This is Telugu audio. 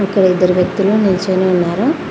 ఇక్కడ ఇద్దరు వ్యక్తులు నిల్చొని ఉన్నారు.